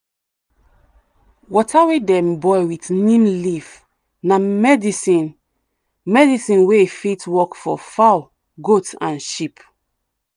water wey dem boil with neem leaf na medicine medicine wey fit work for fowl goat and sheep.